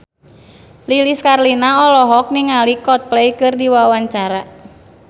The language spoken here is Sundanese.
Lilis Karlina olohok ningali Coldplay keur diwawancara